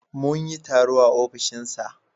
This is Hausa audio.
Mun yi taro a ofishinsa.